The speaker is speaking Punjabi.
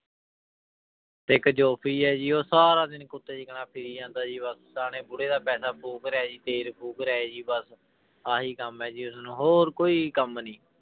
ਇੱਕ ਹੈ ਜੀ ਉਹ ਸਾਰਾ ਦਿਨ ਕੁੱਤੇ ਦੀ ਤਰ੍ਹਾਂ ਫਿਰੀ ਜਾਂਦਾ ਜੀ ਬਸ ਸਿਆਣੇ ਬੁੜੇ ਦਾ ਪੈਸਾ ਫ਼ੂਕ ਰਿਹਾ ਜੀ ਤੇਲ ਫ਼ੂਕ ਰਿਹਾ ਜੀ ਬਸ, ਆਹੀ ਕੰਮ ਹੈ ਜੀ ਉਸਨੂੰ ਹੋਰ ਕੋਈ ਕੰਮ ਨੀ